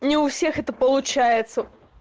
ни у всех это получается